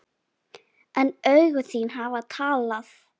En augu þín hafa talað.